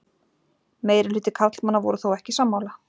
Meirihluti karlmanna voru þó ekki sammála